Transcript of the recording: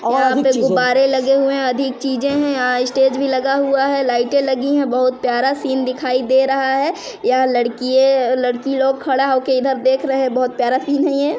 यहाँ पे गुब्बारे लगे हुए है अधिक चीज़े है यहाँ स्टेज भी लगा हुआ है लाइटें लगी है बहुत प्यारा सीन दिखाई दे रहा है यहाँ लड़किये लड़की लोग खड़ा होके इधर देख रहे है बहुत प्यारा सीन है ये --